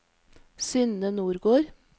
Synne Nordgård